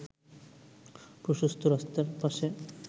প্রশস্ত রাস্তার পাশে